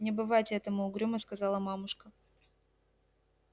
не бывать этому угрюмо сказала мамушка